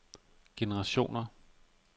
generationer